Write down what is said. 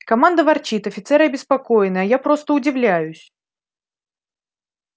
команда ворчит офицеры обеспокоены а я просто удивляюсь